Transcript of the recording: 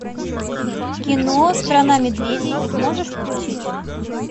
кино страна медведей можешь включить